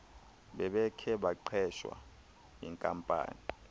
bebekhe baqeshwa yinkampani